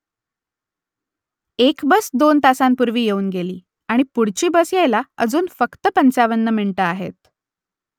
एक बस दोन तासांपूर्वी येऊन गेली आणि पुढची बस यायला अजून फक्त पंचावन्न मिनिटं आहेत